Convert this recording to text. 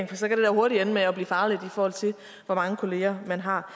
for så kan det da hurtigt ende med at blive farligt i forhold til hvor mange kollegaer man har